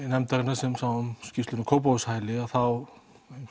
nefndarinnar sem sá um skýrsluna um Kópavogshæli að þá